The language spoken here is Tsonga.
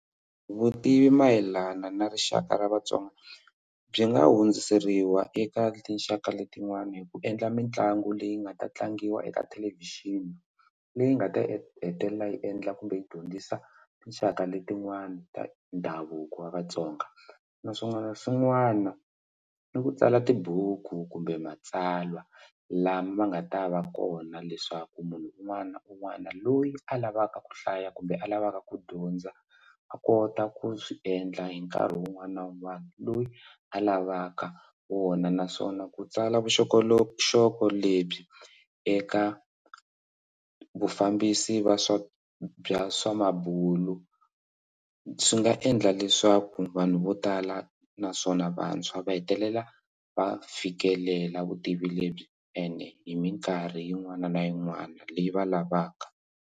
Vutivi mayelana na rixaka ra vatsonga byi nga hundziseriwa eka tinxaka letin'wana hi ku endla mitlangu leyi nga ta tlangiwa eka thelevhixini leyi nga ta hetelela yi endla kumbe yi dyondzisa tinxaka letin'wana ta ndhavuko wa vatsonga naswona swin'wana ni ku tsala tibuku kumbe matsalwa lama nga ta va kona leswaku munhu un'wana na un'wana loyi a lavaka ku hlaya kumbe a lavaka ku dyondza a kota ku swi endla hi nkarhi wun'wana na wun'wana loyi a lavaka wona naswona ku tsala vuxokoxoko lebyi eka vufambisi va swa bya swa mabulo swi nga endla leswaku vanhu vo tala naswona vantshwa va hetelela va fikelela vutivi lebyi ene hi mikarhi yin'wana na yin'wana leyi va lavaka.